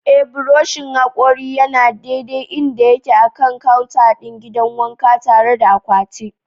Ee, buroshin hakori yana daidai inda yake a kan counter ɗin gidan wanka, tare da akwati.